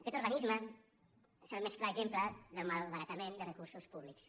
aquest organisme és el més clar exemple del malbaratament de recursos públics